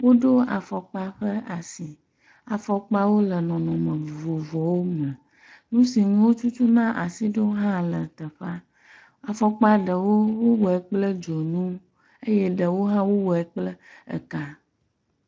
Woɖo afɔkpa ƒe asi, afɔkpawo le nɔnɔme vovovowo me, nusi ŋu wotutu na asi ɖo hã le teƒea, afɔkpa ɖewo wowɔɛ kple dzonu eye ɖewo hã wowɔɛ kple eka.